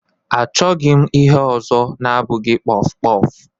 Achọghị m ihe ọzọ na-abụghị kpọf kpọf.